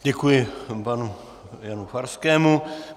Děkuji panu Janu Farskému.